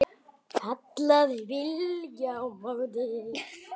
kallaði Bylgja á móti.